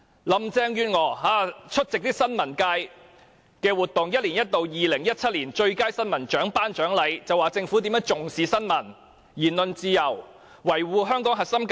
林鄭月娥出席新聞界一年一度的 "2017 年最佳新聞獎"頒獎典禮時說政府重視新聞、言論自由，以及維護香港的核心價值。